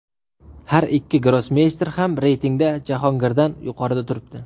Har ikki grossmeyster ham reytingda Jahongirdan yuqorida turibdi.